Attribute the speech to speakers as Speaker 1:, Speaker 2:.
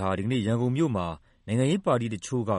Speaker 1: ဟာ ဒီနေ့ ရန်ကုန်မြို့မှာ နိုင်ငံရေးပါတီတချို့က